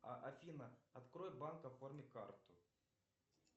афина открой банк оформи карту